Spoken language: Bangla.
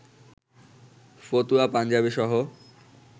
ফতুয়া, পাঞ্জাবিসহ